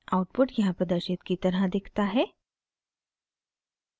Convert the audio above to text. output यहाँ प्रदर्शित की तरह दिखता है